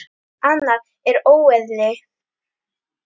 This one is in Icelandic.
Annað er óeðli.